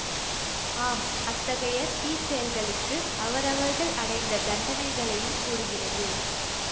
ஆம் அத்தகைய தீச்செயல்களுக்கு அவரவர்கள் அடைந்த தண்டனைகளையும் கூறுகிறது